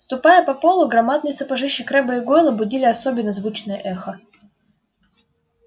ступая по полу громадные сапожищи крэбба и гойла будили особенно звучное эхо